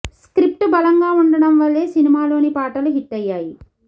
script బలంగా ఉండడం వల్లే సినిమాలోని పాటలు హిట్ అయ్యాయి